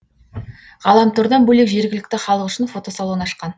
ғаламтордан бөлек жергілікті халық үшін фотосалон ашқан